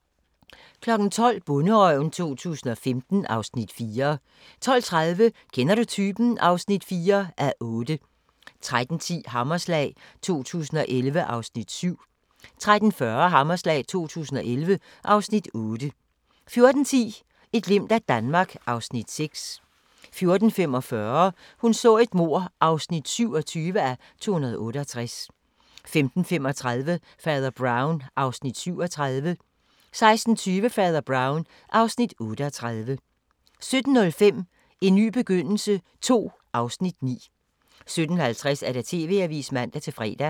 12:00: Bonderøven 2015 (Afs. 4) 12:30: Kender du typen? (4:8) 13:10: Hammerslag 2011 (Afs. 7) 13:40: Hammerslag 2011 (Afs. 8) 14:10: Et glimt af Danmark (Afs. 6) 14:45: Hun så et mord (27:268) 15:35: Fader Brown (Afs. 37) 16:20: Fader Brown (Afs. 38) 17:05: En ny begyndelse II (Afs. 9) 17:50: TV-avisen (man-fre)